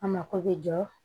A mako bɛ jɔ